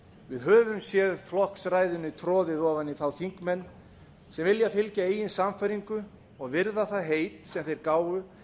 við höfum séð flokksræðinu troðið ofan í þá þingmenn sem vilja fylgja eigin sannfæringu og virða það heit sem þeir gáfu